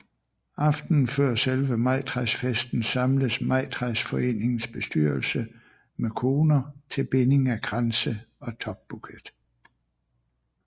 Aftenen før selve majtræsfesten samles majtræsforeningens bestyrelse med koner til binding af kranse og topbuket